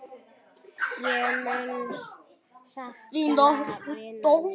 Ég mun sakna vinar míns.